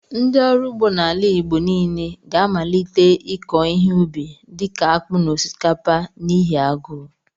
Ndị ọrụ ugbo n'ala Igbo niile ga-amalite ịkọ ihe ụbi dịka akpu na osikapa n'ihi agụụ.